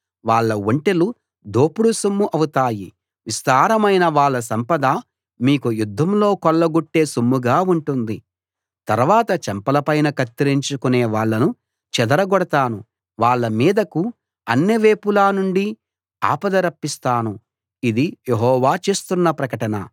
వాళ్ళ ఒంటెలు దోపుడు సొమ్ము అవుతాయి విస్తారమైన వాళ్ళ సంపద మీకు యుద్ధంలో కొల్లగొట్టే సొమ్ముగా ఉంటుంది తర్వాత చెంపలపైన కత్తిరించుకునే వాళ్ళను చెదరగొడతాను వాళ్ళ మీదకు అన్ని వేపుల నుండీ ఆపద రప్పిస్తాను ఇది యెహోవా చేస్తున్న ప్రకటన